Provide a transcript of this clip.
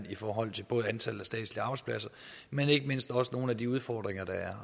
i forhold til antallet af statslige arbejdspladser men ikke mindst også nogle af de udfordringer der er